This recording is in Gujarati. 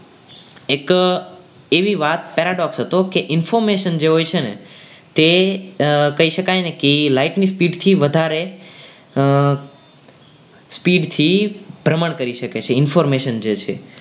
એક એવી વાત હતો કે information જે હોય છે ને તે કહી શકાય ને કે light ની speed થી વધારે speed થી ભ્રમણ કરી શકે છે information જોઈએ છે.